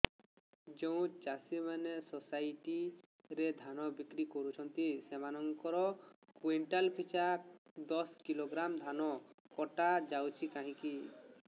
ଯେଉଁ ଚାଷୀ ମାନେ ସୋସାଇଟି ରେ ଧାନ ବିକ୍ରି କରୁଛନ୍ତି ସେମାନଙ୍କର କୁଇଣ୍ଟାଲ ପିଛା ଦଶ କିଲୋଗ୍ରାମ ଧାନ କଟା ଯାଉଛି କାହିଁକି